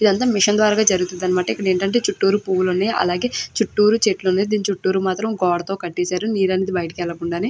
ఇదంతా మిషన్ ద్వారా జరుగుతుందన్నమాట. ఇక్కడ ఏంటంటే చుట్టూరు పువ్వులు ఉన్నాయి అలాగే చుట్టూరు చెట్లు ఉన్నాయి దీని చుట్టూరు మాత్రం గోడ కట్టేశారు నీరన్ని బయటకు వెళ్లకుండా అని.